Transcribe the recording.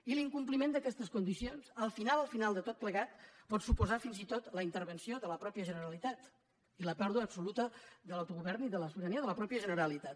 i l’incompliment d’aquestes condicions al final al final de tot plegat pot suposar fins i tot la intervenció de la mateixa generalitat i la pèrdua absoluta de l’autogovern i de la sobirania de la mateixa generalitat